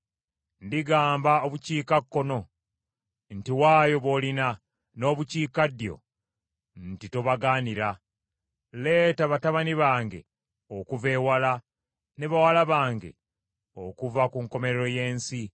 Ndigamba obukiikakkono nti, ‘Waayo b’olina,’ n’obukiikaddyo nti, ‘Tobagaanira.’ Leeta batabani bange okuva ewala ne bawala bange okuva ku nkomerero y’ensi.